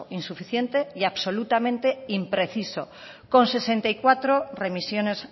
insuficiente y absolutamente impreciso con sesenta y cuatro remisiones